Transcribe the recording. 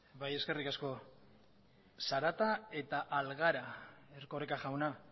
bai eskerrik asko zarata eta algara erkoreka jauna